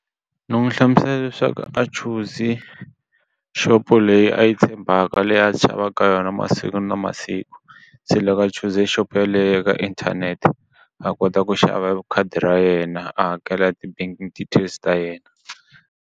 Ndzi n'wi hlamusela leswaku a chuze xopo leyi a yi tshembaka leyi a ka yona masiku na masiku se loko a chuze exopo yeleyo ka inthanete a kota ku xava khadi ra yena a hakela ti-banking details ta yena.